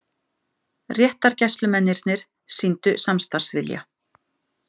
Réttargæslumennirnir sýndu samstarfsvilja.